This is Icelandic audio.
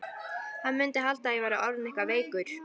Hann mundi halda að ég væri orðinn eitthvað veikur.